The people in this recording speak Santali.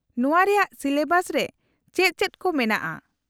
-ᱱᱚᱶᱟ ᱨᱮᱭᱟᱜ ᱥᱤᱞᱮᱵᱟᱥ ᱨᱮ ᱪᱮᱫ ᱪᱮᱫ ᱠᱚ ᱢᱮᱱᱟᱜᱼᱟ ?